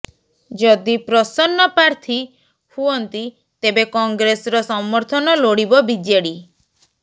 ଯଦି ପ୍ରସନ୍ନ ପ୍ରାର୍ଥୀ ହୁଅନ୍ତି ତେବେ କଂଗ୍ରେସର ସମର୍ଥନ ଲୋଡ଼ିବ ବିଜେଡି